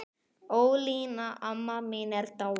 Ólína amma mín er dáin.